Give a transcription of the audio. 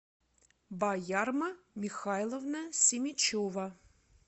баярма михайловна семичева